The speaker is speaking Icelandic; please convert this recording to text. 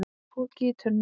Poki í tunnu